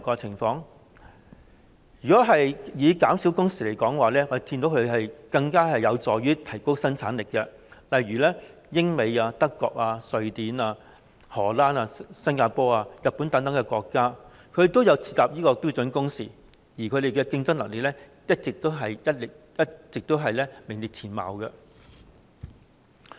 就減少工時來說，我們見到它有助提高生產力，例如英國、美國、德國、瑞典、荷蘭、新加坡和日本等國家，均設有標準工時，而當地的競爭力一直名列前茅。